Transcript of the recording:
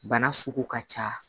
Bana sugu ka ca